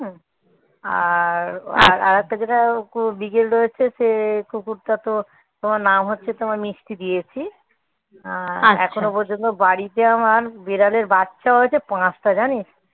আর আর একটা যেটা বিগেল রয়েছে সে কুকুরটা তো তোমার নাম হচ্ছে তোমার মিষ্টি দিয়েছি আহ এখনো পর্যন্ত বাড়িতে আমার বিড়ালের বাচ্চা হয়েছে পাঁচটা জানিস?